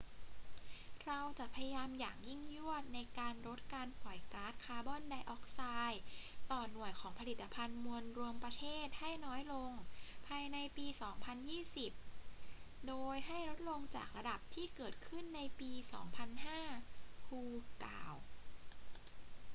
เราจะพยายามอย่างยิ่งยวดในการลดการปล่อยก๊าซคาร์บอนไดออกไซด์ต่อหน่วยของผลิตภัณฑ์มวลรวมประเทศให้น้อยลงภายในปี 2020 โดยให้ลดลงจากระดับที่เกิดขึ้นในปี 2005 hu กล่าว